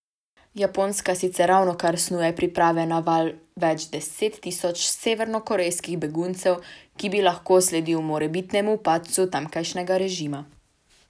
Japonska sicer ravnokar snuje priprave na val več deset tisoč severnokorejskih beguncev, ki bi lahko sledil morebitnemu padcu tamkajšnjega režima.